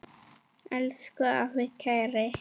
Elsku afi Kári.